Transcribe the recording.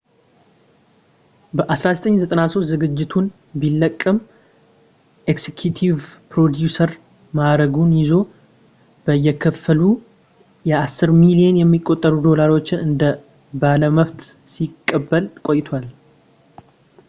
በ1993 ዝግጅቱን ቢለቅም ኤክስኪዩቲቭ ፕሮዲውሰር ማዕረጉን ይዞ በየክፍሉ በአስር ሚሊዮን የሚቆጠሩ ዶላሮችን እንደ ባለመብት ሲቀበል ቆይቷል